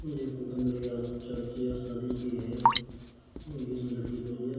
ये फोटो मेरे खयाल से चर्च या शादी की है एक इसमें लड़की खड़ी है।